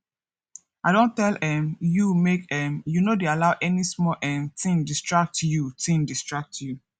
i don tell um you make um you no dey allow any small um thing distract you thing distract you